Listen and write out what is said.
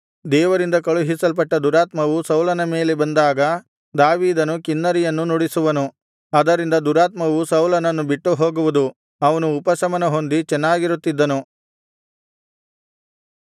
ದೇವರಿಂದ ಕಳುಹಿಸಲ್ಪಟ್ಟ ದುರಾತ್ಮವು ಸೌಲನ ಮೇಲೆ ಬಂದಾಗ ದಾವೀದನು ಕಿನ್ನರಿಯನ್ನು ನುಡಿಸುವನು ಅದರಿಂದ ದುರಾತ್ಮವು ಸೌಲನನ್ನು ಬಿಟ್ಟುಹೋಗುವುದು ಅವನು ಉಪಶಮನಹೊಂದಿ ಚೆನ್ನಾಗಿರುತ್ತಿದ್ದನು